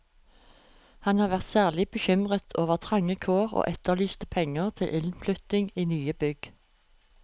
Han var særlig bekymret over trange kår og etterlyste penger til innflytting i nye bygg.